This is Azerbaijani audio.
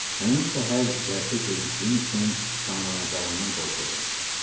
Həmin səhər dərsə gecikdiyim üçün danlanacağımdan qorxurdum.